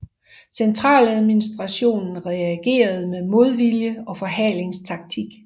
Centraladministrationen reagerede med modvilje og forhalingstaktik